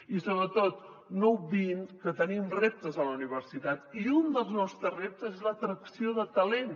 i sobretot no obviïn que tenim reptes a la universitat i un dels nostres reptes és l’atracció de talent